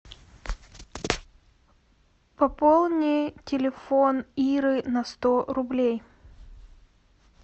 пополни телефон иры на сто рублей